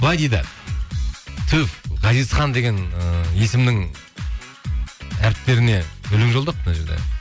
былай дейді түф ғазизхан деген ыыы есімнің әріптеріне өлең жолдапты мына жерде